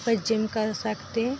पर जिम कर सकते --